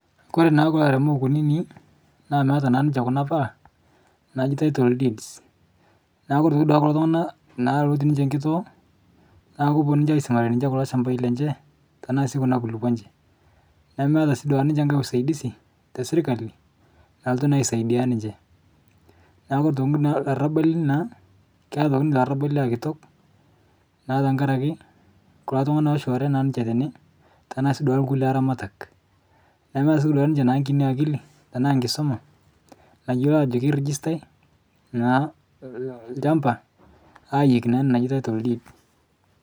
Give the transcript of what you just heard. Kore naa kulo airemok kunini naa meata naa ninche kuna pala naaji tittle deeds naaku kore naaduake kulo tung'ana naa lotii ninche nkitoo, naa koponu ninche aisimarie ninche kulo shambai lenche tanaa sii kuna kulupo enche nemeata sii duake ninche nkae usaidisi te sirkali nalotu naa asaidia ninche. Naa kore toki naa larabali naa keata atoki ninche larabali aa kitok naa ntakre ake kulo tung'ana loshulare ninche tene tanaa sii duake lkule aramatak, nemeeta sii duake ninche kini akili tanaa nkisoma nayuolo ajo kerijistai naa lchamba ayeki naa ina naji tittle deed.